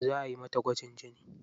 Za ayi mata gwajin jini.